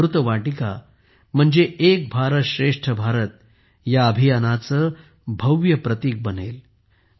ही अमृत वाटिका म्हणजे एक भारत श्रेष्ठ भारत ह्या अभियानाचे भव्य प्रतीक बनेल